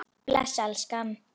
Bless elskan!